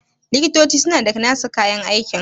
likitoci suna da nasu kayan aiki